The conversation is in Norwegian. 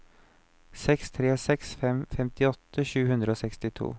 seks tre seks fem femtiåtte sju hundre og sekstito